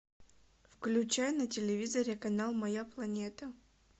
включай на телевизоре канал моя планета